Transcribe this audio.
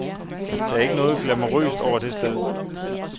Der er ikke noget glamourøst over det sted.